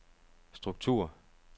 struktur